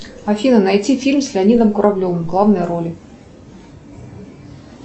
афина найти фильм с леонидом куравлевым в главной роли